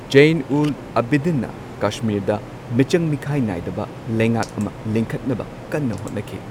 ꯖꯩꯟ ꯎꯜ ꯑꯕꯤꯗꯤꯟꯅ ꯀꯁꯃꯤꯔꯗ ꯃꯤꯆꯪ ꯃꯤꯈꯥꯏ ꯅꯥꯏꯗꯕ ꯂꯩꯉꯥꯛ ꯑꯃ ꯂꯤꯡꯈꯠꯅꯕ ꯀꯟꯅ ꯍꯣꯠꯅꯈꯤ꯫